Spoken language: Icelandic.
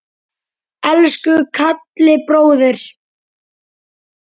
Elsku Kalli bróðir.